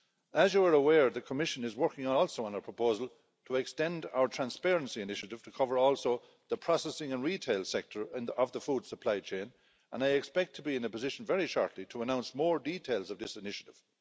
As you are aware, the Commission is working too on a proposal to extend our transparency initiative to cover the processing and retail sector end of the food supply chain and I expect to be in a position very shortly to announce more details of this initiative.